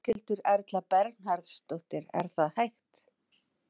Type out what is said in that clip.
Berghildur Erla Bernharðsdóttir: Er það hægt?